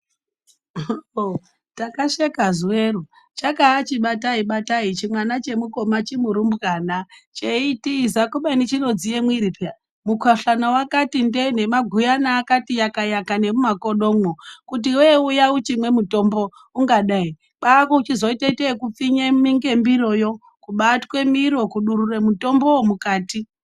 OOho! takasheka zuwero chakaachibatai batai chimwana chemukoma chimurumbwana cheitiza kubeni chinodziye mwiri peya mukhuhlani wakati ndee nemaguyana akati yakayaka nemumakodomwo kuti iwewe uya uchimwe mutombo ungada ere! kwaakuchizotoite ekupfinye ngemiroyo kubatwe miro kudurure mutombowo mukati.